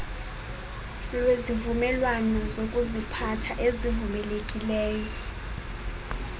lwezivumelwano zokuziphatha ezivumelekileyo